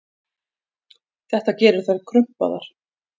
Þetta gerir þær krumpaðar.